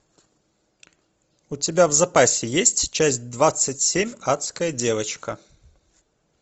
у тебя в запасе есть часть двадцать семь адская девочка